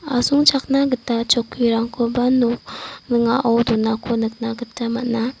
asongchakna gita chokkirangkoba nok ning·ao donako nikna gita man·a.